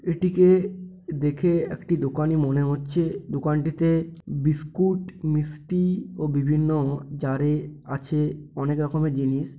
এটিকে দেখে একটি দোকানই মনে হচ্ছে দোকানটিতে বিস্কুট মিষ্টি ও বিভিন্ন জার -এ আছে অনেক রকমের জিনিস।